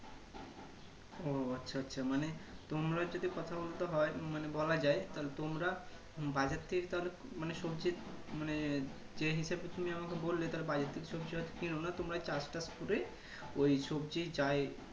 ও আচ্ছা আচ্ছা তোমরা যদি কথা বলতে হয় মানে বলা যাই তাহলে তোমরা বাইরের থেকে কাও রির মানে সবজি মানে যে হিসাবে তুমি আমাকে বললে তাহলে বাইরে থেকে সবজি আর কেননা তোমরাই চাষ টাস করে ওই সবজি যাই